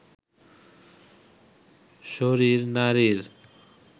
শরীর নারীর